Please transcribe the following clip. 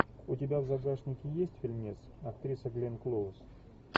у тебя в загашнике есть фильмец актриса гленн клоуз